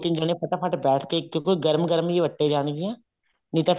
ਦੋ ਤਿੰਨ ਜਾਣੇ ਫਟਾ ਫਟ ਬੈਠ ਕੇ ਕਿਉਂਕਿ ਗਰਮ ਗਰਮ ਹੀ ਵੱਟੇ ਜਾਣਗੀਆਂ ਨਹੀਂ ਤਾਂ